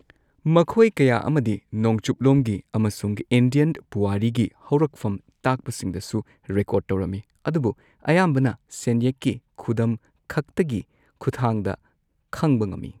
ꯃꯈꯣꯏ ꯀꯌꯥ ꯑꯃꯗꯤ ꯅꯣꯡꯆꯨꯞꯂꯣꯝꯒꯤ ꯑꯃꯁꯨꯡ ꯏꯟꯗꯤꯌꯟ ꯄꯨꯋꯥꯔꯤꯒꯤ ꯍꯧꯔꯛꯐꯝ ꯇꯥꯛꯄꯁꯤꯡꯗꯁꯨ ꯔꯦꯀꯣꯔꯗ ꯇꯧꯔꯝꯃꯤ꯫ ꯑꯗꯨꯕꯨ ꯑꯌꯥꯝꯕꯅ ꯁꯦꯟꯌꯦꯛꯀꯤ ꯈꯨꯗꯝ ꯈꯛꯇꯒꯤ ꯈꯨꯠꯊꯥꯡꯗ ꯈꯪꯕ ꯉꯝꯏ꯫